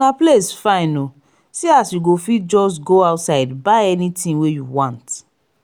place fine oo see as you go fit just go outside buy anything wey you want